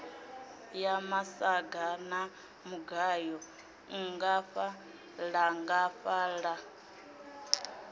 ya masaga a mugayo nngafhaḽangafhaḽa